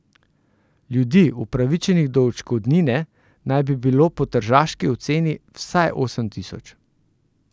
Ljudi, upravičenih do odškodnine, naj bi bilo po tržaški oceni vsaj osem tisoč.